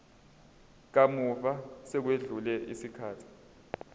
kamuva sekwedlule isikhathi